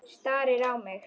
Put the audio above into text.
Starir á mig.